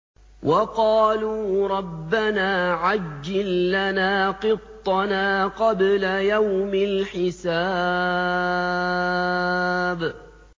وَقَالُوا رَبَّنَا عَجِّل لَّنَا قِطَّنَا قَبْلَ يَوْمِ الْحِسَابِ